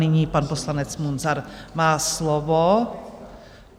Nyní pan poslanec Munzar má slovo.